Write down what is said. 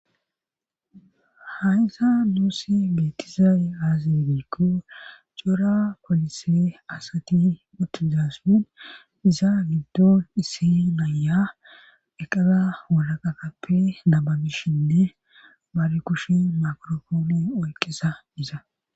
hayysa nuussi beetizaay aaze giikko cora polise asati utijaasupin iza giddon ise naya eqala walaqaqappe nababishinne bari kushen makorofooni oyqizaysa